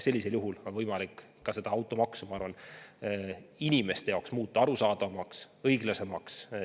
Sellisel juhul on võimalik automaks inimeste jaoks muuta arusaadavamaks ja õiglasemaks.